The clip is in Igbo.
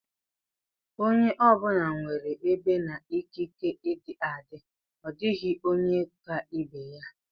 Onye ọ bụla nwere ebe na ikike ịdị adị; ọ dịghị onye ka ibe ya.